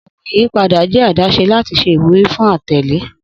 Ogbin iyipada jẹ adaṣe lati ṣe iwuri fun atẹle.